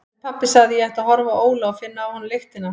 En pabbi sagði að ég ætti að horfa á Óla og finna af honum lyktina.